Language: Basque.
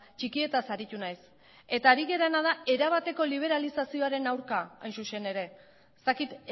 txikietaz aritu naiz eta ari garena da erabateko liberalizazioaren aurka hain zuzen ere ez dakit